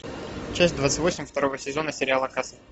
часть двадцать восемь второго сезона сериала касл